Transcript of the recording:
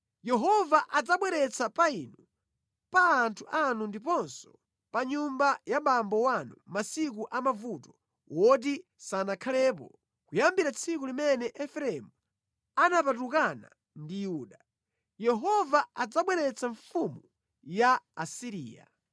Yehova adzabweretsa pa inu, pa anthu anu ndiponso pa nyumba ya bambo wanu masiku a mavuto woti sanakhalepo kuyambira tsiku limene Efereimu anapatukana ndi Yuda. Yehova adzabweretsa mfumu ya ku Asiriya.”